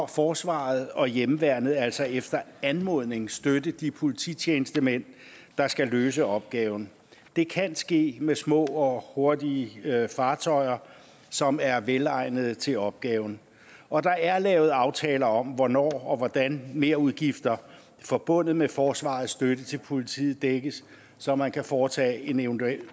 forsvaret og hjemmeværnet altså efter anmodning støtte de polititjenestemænd der skal løse opgaven det kan ske med små og hurtige fartøjer som er velegnede til opgaven og der er lavet aftaler om hvornår og hvordan merudgifter forbundet med forsvarets støtte til politiet dækkes så man kan foretage en eventuel